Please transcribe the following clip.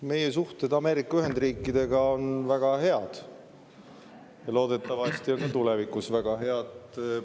Meie suhted Ameerika Ühendriikidega on väga head, loodetavasti on ka tulevikus väga head.